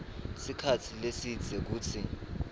sikhatsi lesidze kutsi